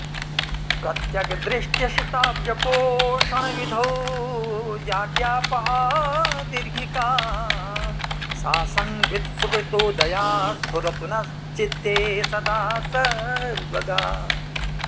प्रत्यग्दृष्ट्यसिताब्जपोषणविधौ जाड्यापहा दीर्घिका सा संवित् सुकृतोदया स्फुरतु नश्चित्ते सदा सर्वगा